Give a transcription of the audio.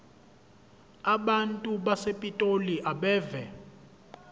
abantu basepitoli abeve